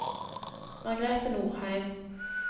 Margrete Norheim